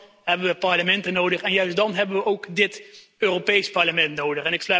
Juist dan hebben we parlementen nodig en juist dan hebben we ook het Europees Parlement nodig.